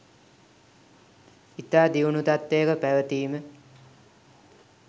ඉතා දියුණු තත්ත්වයක පැවතීම